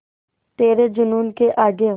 तेरे जूनून के आगे